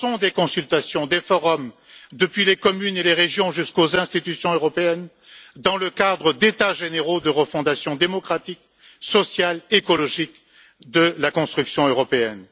Lançons des consultations, des forums, depuis les communes et les régions jusqu'aux institutions européennes, dans le cadre d'états généraux de refondation démocratique, sociale et écologique de la construction européenne.